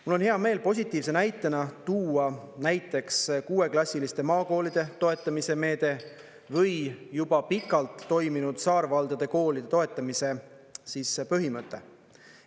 Mul on hea meel positiivse näitena tuua näiteks kuueklassiliste maakoolide toetamise meede või juba pikalt toiminud saarvaldade koolide toetamise põhimõte.